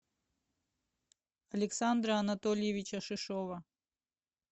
александра анатольевича шишова